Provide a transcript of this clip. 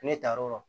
Ne taar'o